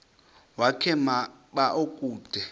wakhe ma baoduke